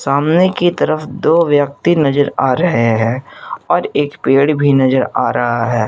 सामने की तरफ दो व्यक्ति नजर आ रहे हैं और एक पेड़ भी नजर आ रहा है।